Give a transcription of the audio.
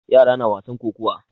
Yara na wasan kokuwa.